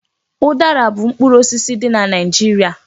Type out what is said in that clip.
Udara u mkpụrụ osisi dị na Naịjirịa.